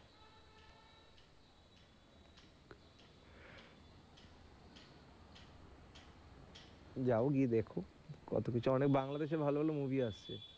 যাও গিয়ে দেখো কতকিছু অনেক বাংলাদেশের ভালো ভালো movie আসছে।